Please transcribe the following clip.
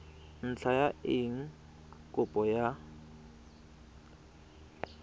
ntlha ya eng kopo ya